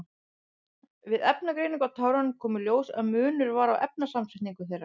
Við efnagreiningu á tárunum kom í ljós að munur var á efnasamsetningu þeirra.